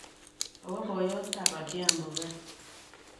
Kowo boyotab Adhiambo gaa.